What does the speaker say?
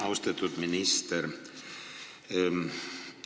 Austatud minister!